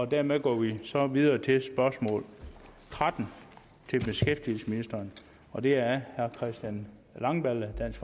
dermed går vi så videre til spørgsmål tretten til beskæftigelsesministeren og det er af herre christian langballe dansk